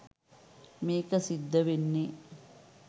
මේක සිද්ධ වෙන්නේ.